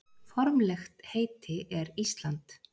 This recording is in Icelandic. Formlegt heiti er Ísland.